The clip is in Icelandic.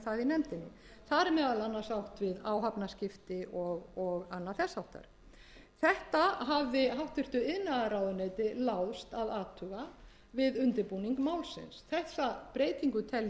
nefndinni þar er meðal annars átt við áhafnaskipti og annað þess háttar þetta hafði háttvirtur iðnaðarráðuneyti láðst að athuga við undirbúning málsins þessa breytingu tel ég